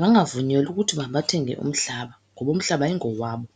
bangavunyelwa ukuthi mabathenge umhlaba, ngoba umhlaba ayingowabo.